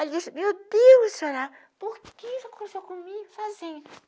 Aí eu disse, meu Deus, senhora, por que você conversou comigo sozinha?